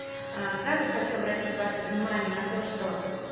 а сразу хочу обратить ваше внимание на то что